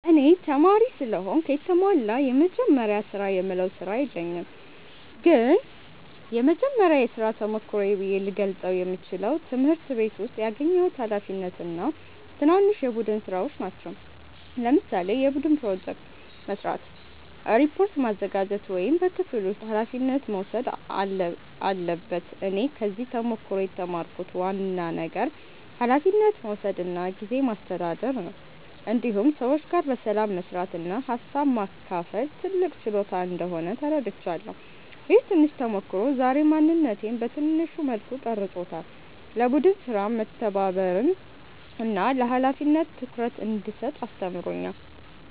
እኔ ተማሪ ስለሆንኩ የተሟላ “የመጀመሪያ ስራ”የምለው ስራ የለኝም ግን የመጀመሪያ የሥራ ተሞክሮዬ ብዬ ልገልጸው የምችለው ትምህርት ቤት ውስጥ ያገኘሁት ኃላፊነት እና ትናንሽ የቡድን ሥራዎች ናቸው። ለምሳሌ የቡድን ፕሮጀክት መስራት፣ ሪፖርት ማዘጋጀት ወይም በክፍል ውስጥ ኃላፊነት መውሰድ አለበት እኔ ከዚህ ተሞክሮ የተማርኩት ዋና ነገር ኃላፊነት መውሰድ እና ጊዜ ማስተዳደር ነው። እንዲሁም ሰዎች ጋር በሰላም መስራት እና ሀሳብ ማካፈል ትልቅ ችሎታ እንደሆነ ተረድቻለሁ። ይህ ትንሽ ተሞክሮ ዛሬ ማንነቴን በትንሹ መልኩ ቀርጾታል፤ ለቡድን ሥራ መተባበርን እና ለኃላፊነት ትኩረት እንድሰጥ አስተምሮኛል።